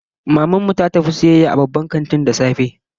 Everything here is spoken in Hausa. Maman mu ta tafi sayayya a babban kanti da safe